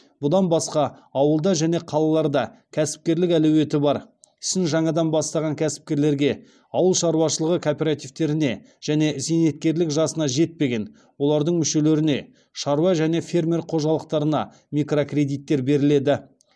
бұдан басқа ауылда және қалаларда кәсіпкерлік әлеуеті бар ісін жаңадан бастаған кәсіпкерлерге ауыл шаруашылығы кооперативтеріне және зейнеткерлік жасына жетпеген олардың мүшелеріне шаруа және фермер қожалықтарына микрокредиттер беріледі